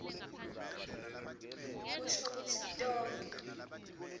kusho kutsi tonkhe